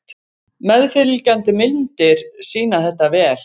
Meðfylgjandi myndir sýna þetta vel.